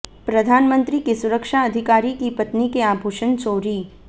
प्रधानमंत्री के सुरक्षा अधिकारी की पत्नी के आभूषण चोरी